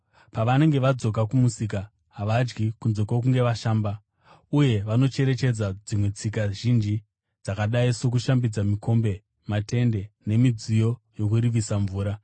Pavanenge vadzoka kumusika, havadyi kunze kwokunge vashamba. Uye vanocherechedza dzimwe tsika zhinji, dzakadai sokushambidza mikombe, matende, nemidziyo yokuvirisa mvura.